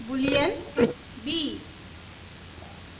boolean b ;